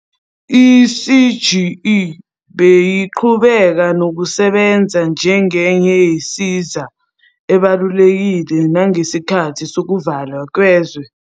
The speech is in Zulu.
I-CGE beyiqhubeka nokusebenza njengenye yensiza ebalulekile nangesikhathi sokuvalwa kwezwe.